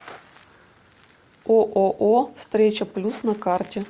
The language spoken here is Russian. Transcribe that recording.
ооо встреча плюс на карте